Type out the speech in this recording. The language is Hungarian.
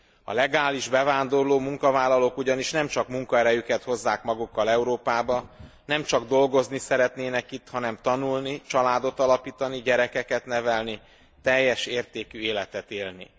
A legálisan bevándorló munkavállalók ugyanis nemcsak munkaerejüket hozzák magukkal Európába, nemcsak dolgozni szeretnének itt, hanem tanulni, családot alapítani, gyerekeket nevelni, teljes értékű életet élni.